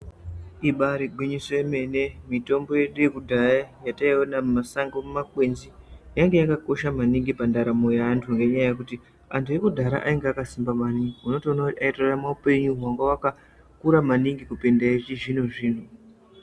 "Ibaari gwinyiso yemene!" Mitombo yedu yekudhaya yataiona mumasango, mumakwenzi, yanga yakakosha maningi pandaramo yeantu ngenyaya yekuti antu ekudhaya ainga akasimba maningi. Unotoona kuti aitorarama upenyu hwanga hwaka kura maningi kupinde echizvino-zvino.